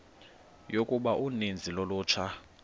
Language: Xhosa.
yokuba uninzi lolutsha